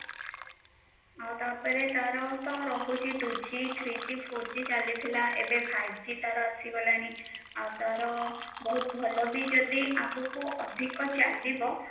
ଆଉ ତା ପରେ ତାର ତ ରହୁଛି two g, three g, four g ଚାଲିଥିଲା ଏବେ five g ତାର ଆସିଗଲାଣି ଆଉ ତାର ବହୁତ ଭଲ ବି ଯଦି ଆଗକୁ ଅଧିକ ଚାଲିବ